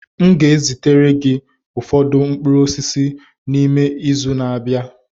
M ga-ezitere gị ụfọdụ mkpụrụ osisi si n'ime ime izu ụka na-abịa.